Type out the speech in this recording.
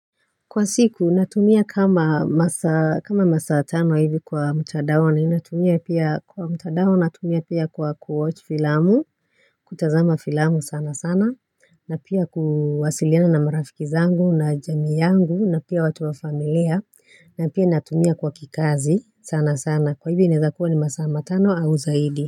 Kwa siku, natumia kama masaa kama masaa tano hivi kwa mtandaoni na inatumia pia kwa mtandao, natumia pia kwa kuwatch filamu, kutazama filamu sana sana, na pia kuwasiliana na marafiki zangu na jamii yangu, na pia watu wa familia, na pia natumia kwa kikazi sana sana, kwa hivi inezakua ni masa matano au zaidi.